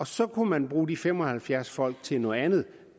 så kunne man bruge de fem og halvfjerds folk til noget andet